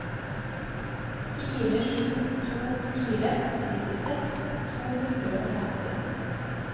fire sju to fire syttiseks to hundre og femti